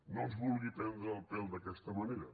no ens vulgui prendre el pèl d’aquesta manera